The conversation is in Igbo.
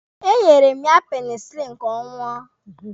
E nyere m ya penisilini ka ọ ṅụọ.